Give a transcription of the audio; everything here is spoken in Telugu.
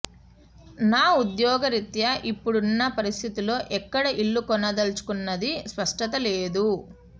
నా ఉద్యోగ రీత్యా ఇప్పుడున్న పరిస్థితుల్లో ఎక్కడ ఇల్లు కొనదల్చుకున్నదీ స్పష్టత లేదు